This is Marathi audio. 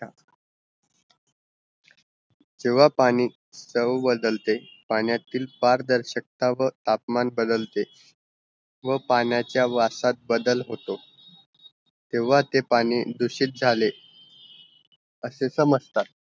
जेव्हा पाणी चव बदलते पाण्यातील पारदर्शकता व तापमान बदलते व पाण्याचा वासात बदल होतो त्यावा ते पाणी दूषित झाले असे समजतात